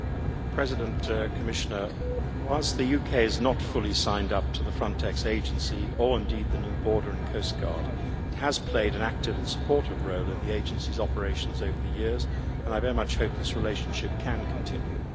Mr President, whilst the UK has not fully signed up to the Frontex agency, or indeed the new Border and Coast Guard, it has played an active and supportive role in the agency's operations over the years and I very much hope this relationship can continue.